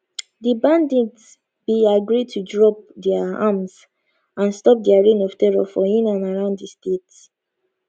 di bandits bin agree to drop dia arms and stop dia reign of terror for in and around di state